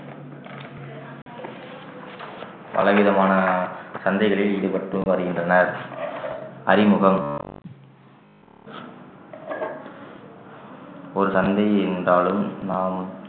பல விதமான சந்தைகளில் ஈடுபட்டு வருகின்றனர் அறிமுகம் ஒரு தந்தை என்றாலும் நாம்